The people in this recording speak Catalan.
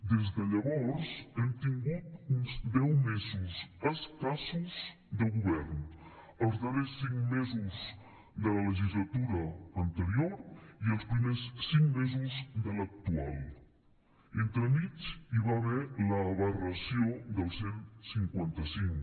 des de llavors hem tingut uns deu mesos escassos de govern els darrers cinc mesos de la legislatura anterior i els primers cinc mesos de l’actual entremig hi va haver l’aberració del cent i cinquanta cinc